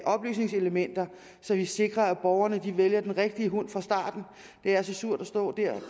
oplysningselementer så vi sikrer at borgerne vælger den rigtige hund fra starten det er så surt at stå der